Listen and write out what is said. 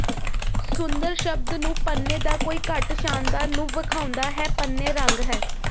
ਸੁੰਦਰ ਸ਼ਬਦ ਨੂੰ ਪੰਨੇ ਦਾ ਕੋਈ ਘੱਟ ਸ਼ਾਨਦਾਰ ਨੂੰ ਵੇਖਾਉਦਾ ਹੈ ਪੰਨੇ ਰੰਗ ਹੈ